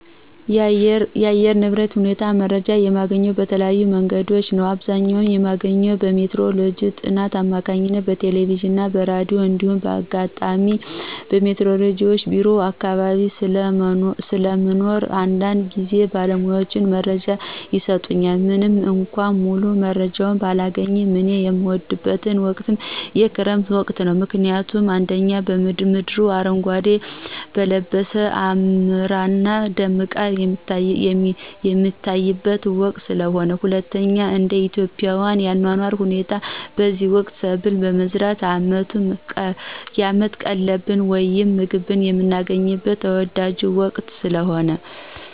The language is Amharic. የአየር ንብረት ሁኔታ መረጃ የማገኘው በተለያዩ መንገዶች ነዉ። በአብዘኛዉ የማገኘው በሜትሮሎጅ ጥናት አማካኝነት በቴለቬዥንና በራዲዮ እንዲሁም ባጋጣሚ በሜትሮሎጅ ቢሮ አካባቢ ስለሞኖር አንዳንድጊዝ ባለሙያዎች መረጃ ይሰጡኛል። ምንምእኳ ሙሉመረጃውን ባላገኝም። እኔ የምወደው ወቅት የክረምት ወቅትን ነው። ምክንያቱም፦ 1)ምድር አረጓዴ ለበሳ አምራና ደምቃ የምትታይበት ወቅት ስለሆነ። 2)እንደኢትዮጵያ የአኗኗር ሁኔታ በዚህ ወቅት ሰብልን በመዝራት አመት ቀለብን ወይም ምግብን የምናገኝበት ተወዳጁ ወቅት ስለሆነ።